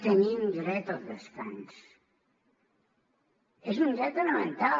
tenim dret al descans és un dret elemental